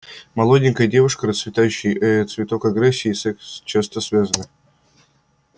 молоденькая девушка расцветающий э цветок агрессия и секс часто связаны